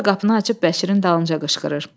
Sonra qapını açıb Bəşirin dalınca qışqırır.